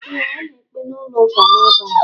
Ee, ọ na ekpe n'ụlọ ụka a n'abalị.